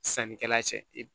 Sannikɛla cɛ